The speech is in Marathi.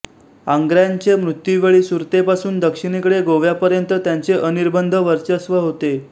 आंग्र्यांच्ये मृत्युवेळी सुरतेपासून दक्षिणेकडे गोव्यापर्यंत त्यांचे अनिर्बंध वर्चस्व होते